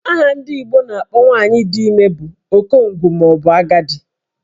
Aha ndị Igbo na-akpọ nwaanyị dị ime bụ okongwu maọbụ agadi